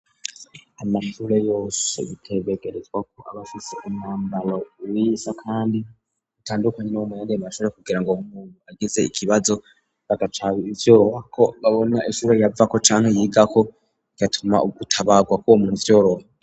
Amature yose bitebegerezwako abafise umwambaro uwiza kandiutandukanye n' w' umuyaremashoje kugira ngo umuntu ageze ikibazo bagacara ivyorohako babona eshure yavako canke yigako igatuma ugutabarwa kuwo muvyoroha.